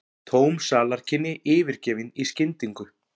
Tóm salarkynni yfirgefin í skyndingu.